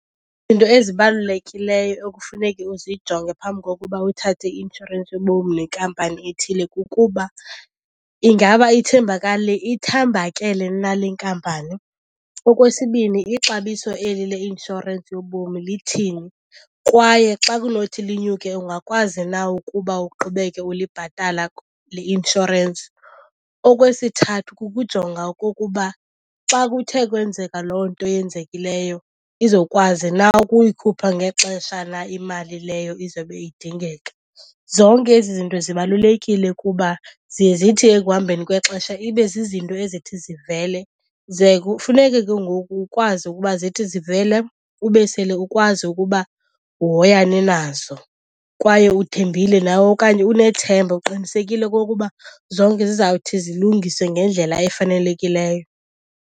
ezibalulekileyo ekufuneke uzijonge phambi kokuba uthathe i-inshorensi yobomi nekampani ethile kukuba ingaba ithembakele na le nkampani. Okwesibini, ixabiso eli leinshorensi yobomi lithini kwaye xa kunothi linyuke ungakwazi na ukuba uqhubeke ulibhatala kule inshorensi? Okwesithathu kukujonga okokuba xa kuthe kwenzeka loo nto yenzekileyo, izokwazi na ukuyikhupha ngexesha na imali leyo izobe idingeka. Zonke ezi zinto zibalulekile kuba ziye zithi ekuhambeni kwexesha ibe zizinto ezithi zivele, ze kufuneke ke ngoku ukwazi ukuba zithi zivela ube sele ukwazi ukuba uhoyane nazo kwaye uthembile nawe okanye unethemba uqinisekile okokuba zonke zizawuthi zilungiswe ngendlela efanelekileyo.